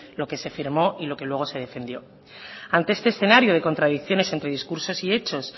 lo que se firmó y lo que luego se defendió ante este escenario de contradicciones entre discursos y hechos